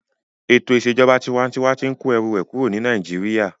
Ètò ìṣèjọba tinwatinwa tí n kó ẹrù rẹ̀ kúrò ní Nàìjíríyà